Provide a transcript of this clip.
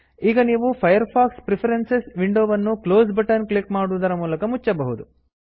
ಈಗ ನೀವು Firefox preference Firefox preference ವಿಂಡೋವನ್ನು ಕ್ಲೋಸ್ ಬಟನ್ ಕ್ಲಿಕ್ ಮಾಡುವುದರ ಮೂಲಕ ಮುಚ್ಚಬಹುದು